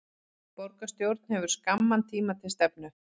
Borgarstjórn hefur skamman tíma til stefnu